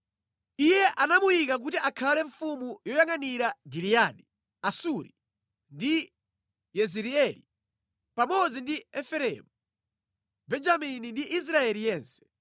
Iye anamuyika kuti akhale mfumu yoyangʼanira Giliyadi, Asuri ndi Yezireeli, pamodzi ndi Efereimu, Benjamini ndi Israeli yense.